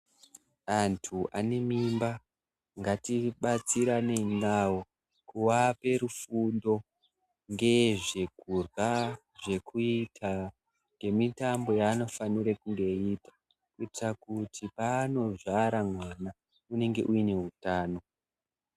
Antu ane mimba ngatibatsiranei navo kuvape rufundo ngezvekurya, nezvekuita nemitambl yaanofanira kunge eyiita kutira kuti paanozvara mwana unenge uine hutano.